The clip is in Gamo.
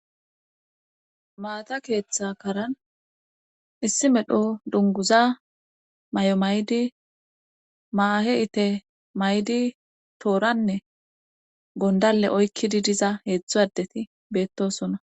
maata keeththa karan issi medho dunguza may7o maydi maahe ite maydi tooranne gondale oykkidi diza heetzdzo adeti beettosona